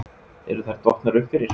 Eru þær dottnar upp fyrir?